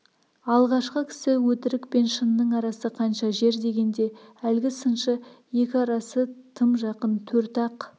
алғашқы кісі өтірік пен шынның арасы қанша жер дегенде әлгі сыншы екі арасы тым жақын төрт-ақ